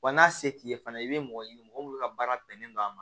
Wa n'a se t'i ye fana i bɛ mɔgɔ ɲini mɔgɔ minnu ka baara bɛnnen don a ma